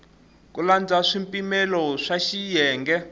ku landza swipimelo swa xiyenge